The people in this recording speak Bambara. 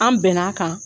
An bɛn'a kan